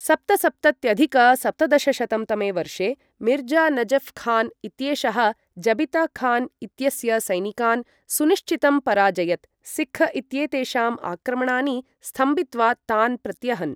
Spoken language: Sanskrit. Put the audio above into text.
सप्तसप्तत्यधिक सप्तदशशतं तमे वर्षे मिर्जा नजफ् खान् इत्येषः जबिता खान् इत्यस्य सैनिकान् सुनिश्चितं पराजयत, सिक्ख् इत्येतेषाम् आक्रमणानि स्तम्भित्वा तान् प्रत्यहन्।